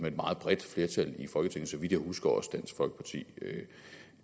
et meget bredt flertal i folketinget så vidt jeg husker også dansk folkeparti